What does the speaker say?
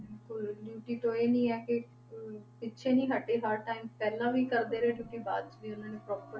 ਬਿਲਕੁਲ duty ਤੋਂ ਇਹ ਨੀ ਹੈ ਕਿ ਹਮ ਪਿੱਛੇ ਨੀ ਹਟੇ ਹਰ time ਪਹਿਲਾਂ ਵੀ ਕਰਦੇ ਰਹੇ duty ਬਾਅਦ ਵੀ ਉਹਨਾਂ ਨੇ proper